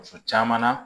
Muso caman na